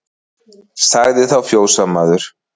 Sagði þá fjósamaður